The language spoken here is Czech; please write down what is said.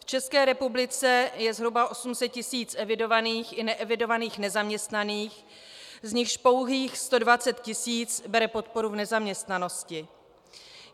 V České republice je zhruba 800 tisíc evidovaných i neevidovaných nezaměstnaných, z nichž pouhých 120 tisíc bere podporu v nezaměstnanosti.